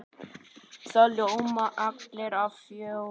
Það ljóma allir af fjöri.